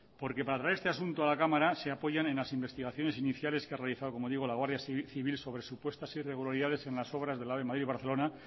porque para traer este asunto a la cámara se apoyan en las investigaciones iniciales que ha realizado como digo la guardia civil sobre supuestas irregularidades en las obras del ave madrid barcelona